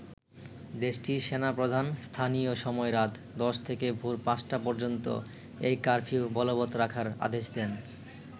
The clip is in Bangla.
দেশটির সেনা প্রধান স্থানীয় সময় রাত ১০ থেকে ভোর পাঁচটা পর্যন্ত এই কারফিউ বলবত রাখার আদেশ দেন।